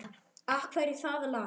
Af hverju það lag?